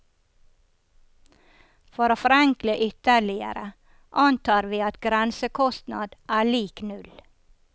For å forenkle ytterligere, antar vi at grensekostnad er lik null.